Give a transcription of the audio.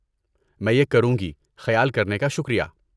میں یہ کروں گی، خیال کرنے کا شکریہ!